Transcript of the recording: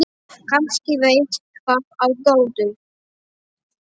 Kannski veit það á gott.